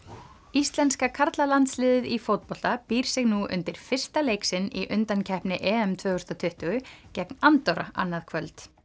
íslenska karlalandsliðið í fótbolta býr sig nú undir fyrsta leik sinn í undankeppni tvö þúsund og tuttugu gegn Andorra annað kvöld